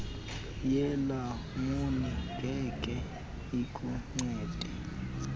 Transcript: yelamuni ngeke ikuncede